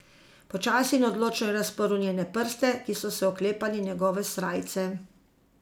Počasi in odločno je razprl njene prste, ki so se oklepali njegove srajce.